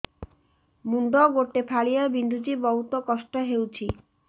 ମୁଣ୍ଡ ଗୋଟେ ଫାଳିଆ ବିନ୍ଧୁଚି ବହୁତ କଷ୍ଟ ହଉଚି